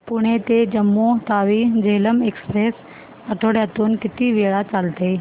पुणे ते जम्मू तावी झेलम एक्स्प्रेस आठवड्यातून किती वेळा चालते